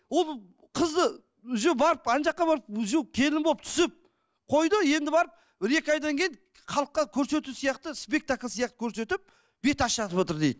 ол қызды уже барып ана жаққа барып уже келін болып түсіп қойды енді барып бір екі айдан кейін халыққа көрсету сияқты спектакль сияқты көрсетіп отыр дейді